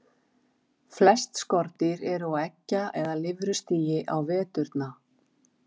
Flest skordýr eru á eggja- eða lirfustigi á veturna.